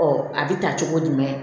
a bɛ ta cogo jumɛn